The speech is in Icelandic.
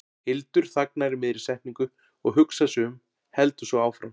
Hildur þagnar í miðri setningu og hugsar sig um, heldur svo áfram